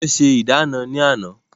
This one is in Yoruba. Wọ́n ṣe ìdáná ní àná